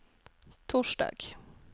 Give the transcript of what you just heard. torsdag